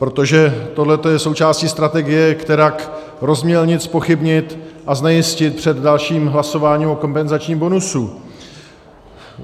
Protože tohle je součástí strategie, kterak rozmělnit, zpochybnit a znejistit před dalším hlasováním o kompenzačním bonusu.